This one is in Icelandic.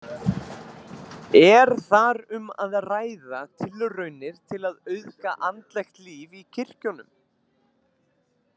Er þar um að ræða tilraunir til að auðga andlegt líf í kirkjunum.